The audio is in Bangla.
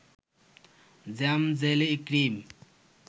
জ্যাম-জেলি-ক্রিম